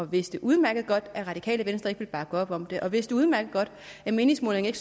vidste udmærket godt at det radikale venstre ikke ville bakke op om det og de vidste udmærket godt at meningsmålingerne